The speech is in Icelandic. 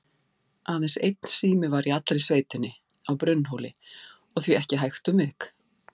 Aðeins einn sími var í allri sveitinni, á Brunnhóli, og því ekki hægt um vik.